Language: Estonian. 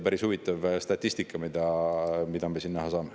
Päris huvitav statistika, mida me näha saame.